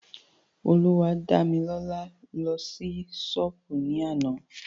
Olúwadámilọ́lá lọ sí ṣọ́pù ní àná.